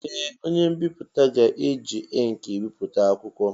Ee! Onye mbipụta ga-eji ịnkị bipụta akwụkwọ.